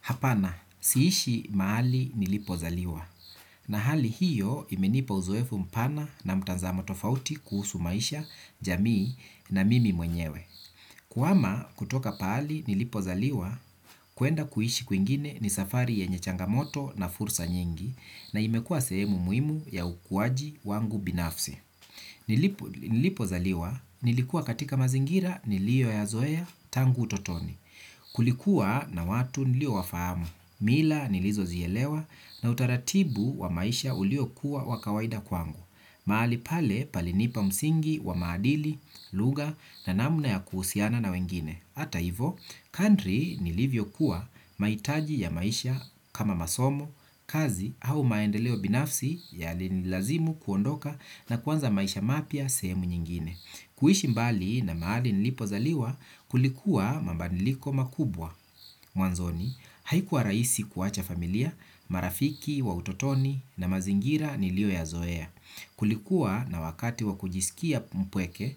Hapana, sihishi mahali nilipozaliwa. Na hali hiyo imenipa uzoefu mpana na mtanzamo tofauti kuhusu maisha, jamii na mimi mwenyewe. Kuhama kutoka pahali nilipozaliwa, kuenda kuhishi kuingine ni safari yenye changamoto na fursa nyingi na imekuwa sehemu muhimu ya ukuwaji wangu binafsi. Nilipozaliwa, nilikuwa katika mazingira niliyoyazoea tangu utotoni. Kulikuwa na watu niliowafahamu, mila nilizozielewa na utaratibu wa maisha uliokuwa wa kawaida kwangu. Mahali pale palinipa msingi wa maadili, lugha na namna ya kuhusiana na wengine. Hata hivo, kandhiri nilivyokuwa maitaji ya maisha kama masomo, kazi au maendeleo binafsi yalinilazimu kuondoka na kuanza maisha mapya sehemu nyingine kuishi mbali na mahali nilipozaliwa kulikuwa mabadiliko makubwa, mwanzoni haikuwa rahisi kuacha familia, marafiki wa utotoni na mazingira niliyoyazoea. Kulikuwa na wakati wa kujisikia mpweke,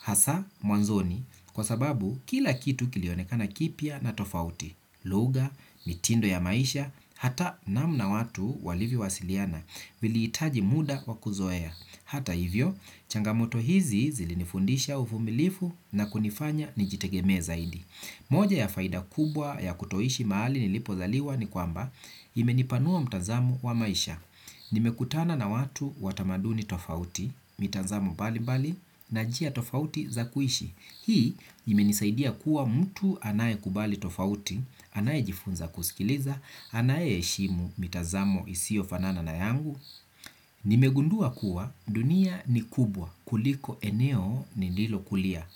hasaa mwanzoni kwa sababu kila kitu kilionekana kipya na tofauti, lugha, mitindo ya maisha, hata namna watu walivyowasiliana viliitaji muda wa kuzoea. Hata hivyo, changamoto hizi zilinifundisha uvumilivu na kunifanya nijitegemee zaidi. Moja ya faida kubwa ya kutoishi mahali nilipozaliwa ni kwamba imenipanua mtanzamo wa maisha. Nimekutana na watu wa tamaduni tofauti, mitanzamo mbali mbali, na njia tofauti za kuishi. Hii imenizaidia kuwa mtu anayekubali tofauti, anayejifunza kusikiliza, anayeheshimu mitazamo isiyofanana na yangu. Nimegundua kuwa dunia ni kubwa, kuliko eneo nililokulia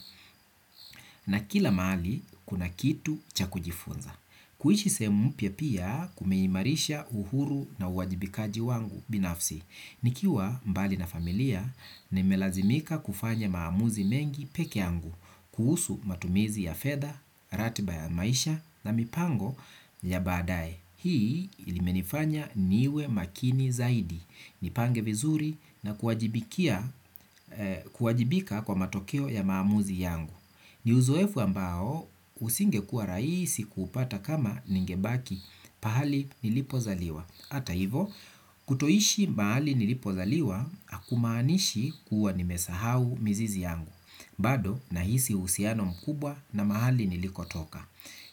na kila mahali kuna kitu cha kujifunza. Kuishi sehemu mpya pia kumeimarisha uhuru na uwajibikaji wangu binafsi. Nikiwa mbali na familia nimelazimika kufanya maamuzi mengi peke yangu kuhusu matumizi ya fetha, ratiba ya maisha na mipango ya baadae. Hii ilimenifanya niwe makini zaidi. Nipange vizuri na kuwajibika kwa matokeo ya maamuzi yangu. Ni uzoefu ambao usingekuwa rahisi kupata kama ningebaki pahali nilipozaliwa. Hata hivo kutoishi mahali nilipozaliwa akumaanishi kuwa nimesahau mizizi yangu. Bado nahisi husiano mkubwa na mahali nilikotoka.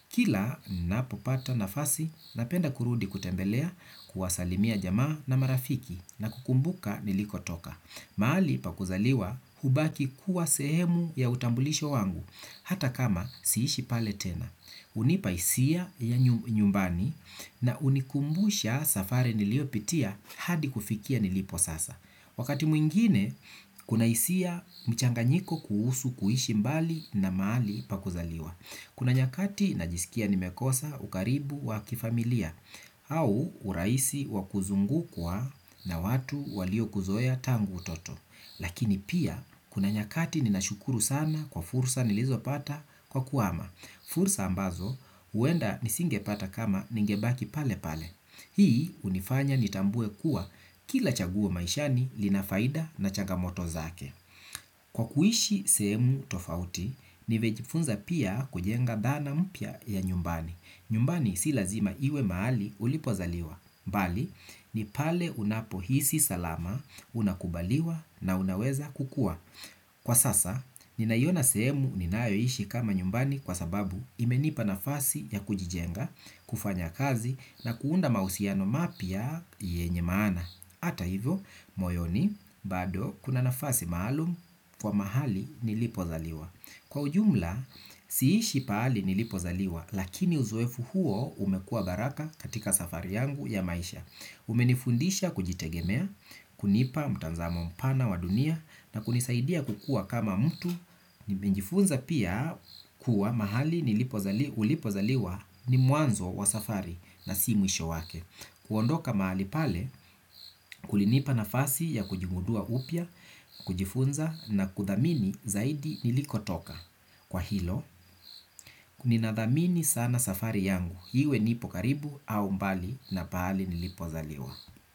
Kila napopata nafasi napenda kurudi kutembelea, kuwasalimia jamaa na marafiki na kukumbuka nilikotoka, mahali pa kuzaliwa ubaki kuwa sehemu ya utambulisho wangu hata kama siishi pale tena. Hunipa hisia ya nyumbani na hunikumbusha safari niliopitia hadi kufikia nilipo sasa. Wakati mwingine, kuna hisia mchanganyiko kuhusu kuhishi mbali na mahali pa kuzaliwa. Kuna nyakati najisikia nimekosa ukaribu wa kifamilia au urahisi wa kuzungukwa na watu waliokuzoea tangu utoto. Lakini pia, kuna nyakati ninashukuru sana kwa fursa nilizopata kwa kuhama. Fursa ambazo huenda nisingepata kama ningebaki pale pale. Hii hunifanya nitambue kuwa kila chaguo maishani linafaida na chagamoto zake. Kwa kuishi sehemu tofauti, nimejifunza pia kujenga dhana mpya ya nyumbani. Nyumbani si lazima iwe mahali ulipozaliwa bali, ni pale unapohisi salama, unakubaliwa na unaweza kukua. Kwa sasa, ninaiona sehemu ninayoishi kama nyumbani kwa sababu imenipa nafasi ya kujijenga, kufanya kazi na kuunda mahusiano mapya yenye maana. Hata hivyo, moyoni, bado, kuna nafasi maalum kwa mahali nilipozaliwa. Kwa ujumla, siishi pahali nilipozaliwa, lakini uzoefu huo umekuwa baraka katika safari yangu ya maisha. Umenifundisha kujitegemea, kunipa mtanzamo mpana wa dunia na kunisaidia kukua kama mtu. Nimejifunza pia kuwa mahali ulipozaliwa ni mwanzo wa safari na si mwisho wake. Kuondoka mahali pale, kulinipa nafasi ya kujimudua upya, kujifunza na kudhamini zaidi nilikotoka. Kwa hilo, ninadhamini sana safari yangu iwe nipo karibu au mbali na pahali nilipozaliwa.